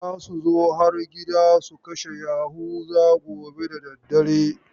Za su zo har gida su kashe Yahuza gobe da dare.